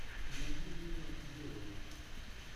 найди мила йовович